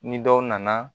Ni dɔw nana